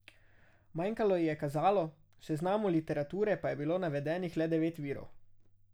Manjkalo ji je kazalo, v seznamu literature pa je bilo navedenih le devet virov.